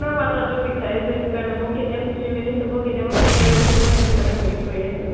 নহয় মাথাটো বিষাইছে সেইটো কাৰণে মই কেতিয়া fifteen minutes হব, কেতিয়া মই phone টো ৰাখিম, মই সেইটো কাৰণে wait কৰি আছো।